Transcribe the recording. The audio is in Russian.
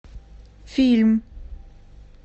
фильм